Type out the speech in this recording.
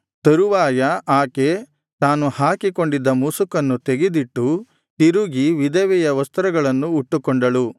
ತರುವಾಯ ಆಕೆ ತಾನು ಹಾಕಿಕೊಂಡಿದ್ದ ಮುಸುಕನ್ನು ತೆಗೆದಿಟ್ಟು ತಿರುಗಿ ವಿಧವೆಯ ವಸ್ತ್ರಗಳನ್ನು ಉಟ್ಟುಕೊಂಡಳು